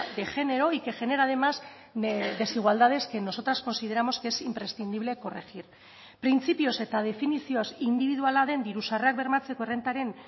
de género y que genera además desigualdades que nosotras consideramos que es imprescindible corregir printzipioz eta definizioz indibiduala den diru sarrerak bermatzeko errentaren